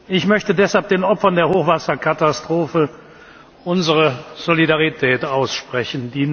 Ich möchte deshalb den Opfern der Hochwasserkatastrophe unsere Solidarität aussprechen.